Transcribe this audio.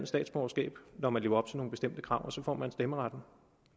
statsborgerskab når man lever op til nogle bestemte krav og så får man stemmeretten